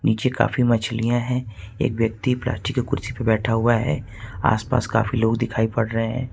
नीचे काफी मछलियां है एक व्यक्ति प्लास्टिक की कुर्सी पे बैठा हुआ है आस-पास काफी लोग दिखाई पड़ रहे हैं।